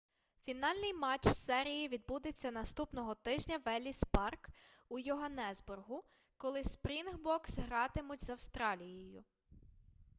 фінальний матч серії відбудеться наступного тижня в елліс парк у йоганнесбургу коли спрінгбокс гратимуть з австралією